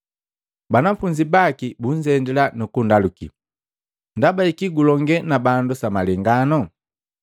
Banafunzi baki bunzendila nukundaluki, “Ndaba jaki gulongee na bandu sa malengano?”